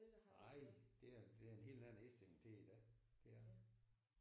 Nej der er der en helt anden indstilling til det i dag det er der